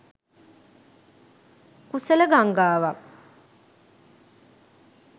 කුසල ගංගාවක්